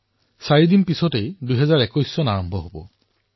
চাৰি দিনৰ পিছতেই ২০২১ বৰ্ষ আৰম্ভ হব